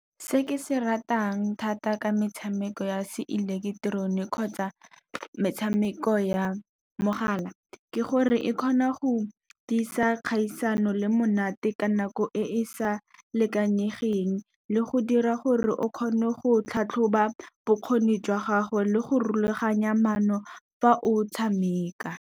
Se ke se ratang thata ka metshameko ya se ileketeroniki kgotsa metshameko ya mogala, ke gore e kgona go tiisa kgaisano le monate ka nako e e sa lekanyegeng. Le go dira gore o kgone go tlhatlhoba bokgoni jwa gago, le go rulaganya maano fa o tshameka.